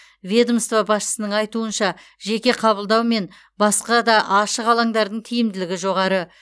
ведомство басшысының айтуынша жеке қабылдау мен басқа да ашық алаңдардың тиімділігі жоғары